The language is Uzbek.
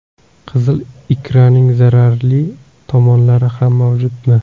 Qizil ikraning zararli tomonlari ham mavjudmi?